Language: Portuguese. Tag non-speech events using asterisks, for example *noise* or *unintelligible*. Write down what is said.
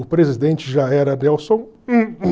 O presidente já era *unintelligible*